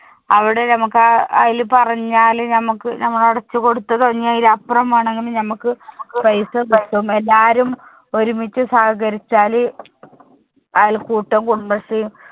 അവിടെ നമ്മുക്ക് ആ അയില് പറഞ്ഞാല് ഞമ്മക്ക് ഞമ്മള് അടച്ച്‌ കൊടുത്തതോ ഇനി അയിലപ്പറം വേണമെങ്കിലും നമ്മുക്ക് paisa കിട്ടും എല്ലാരും ഒരുമിച്ച് സഹകരിച്ചാല് അയൽക്കൂട്ടം കുടുമശ്രീയും